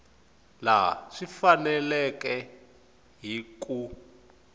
laha swi faneleke hi ku